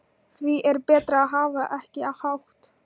Því er betra að hafa ekki hátt.